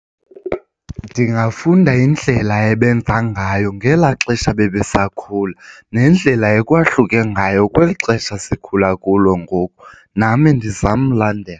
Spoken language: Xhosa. Ndingafunda indlela ebenza ngayo ngelaa xesha bebesakhula nendlela ekwahlukile ngayo kweli xesha sikhula kulo ngoku nam ndizame ulandela.